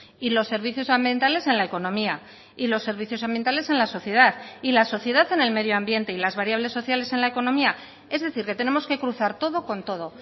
y los servicios ambientales en la economía y los servicios ambientales en la sociedad y la sociedad en el medioambiente y las variables sociales en la economía es decir que tenemos que cruzar todo con todo